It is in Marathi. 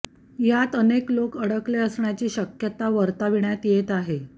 यात अनेक लोक अडकले असण्याची शक्यता वर्तविण्यात येते आहे